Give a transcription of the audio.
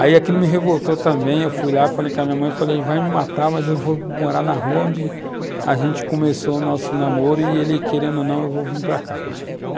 Aí aquilo me revoltou também, eu fui lá, falei com a minha mãe, falei, vai me matar, mas eu vou morar na rua onde a gente começou o nosso namoro, e ele querendo ou não, eu vou vir para cá.